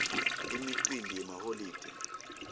imicimbi yemaholide